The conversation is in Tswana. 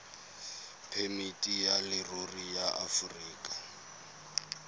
phemiti ya leruri ya aforika